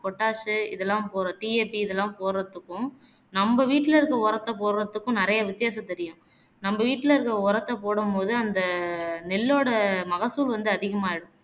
potash உ இதெல்லாம் போட்ற TAT இதெல்லாம் போட்றத்துக்கும் னம்ப வீட்டில இருக்க உரத்தை போட்றத்துக்கும் நிறையா வித்தியாசம் தெரியும் நம்ப வீட்டில இருக்க உரத்த போடும்போது அந்த நெல்லோட மகசூழ் வந்து அதிகமாகிடும்